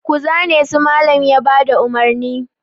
Ku zane su! Mallam ya ba da umarni.